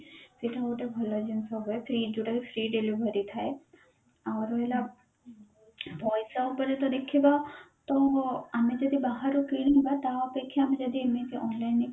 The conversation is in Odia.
ସେଇଟା ଗୋଟେ ଭଲ ଜିନିଷ ହୁଏ free ଯୋଉଟା କି free delivery ଥାଏ ଆଉ ରହିଲା ପଇସା ଉପରେ ତ ଦେଖିବା ତ ଆମେ ଯଦି ବାହାରୁ କିଣିବା ତା ଅପେକ୍ଷା ଆମେ ଯଦି ଏମିତିତ online